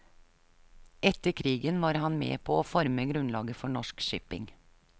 Etter krigen var han med på å forme grunnlaget for norsk shipping.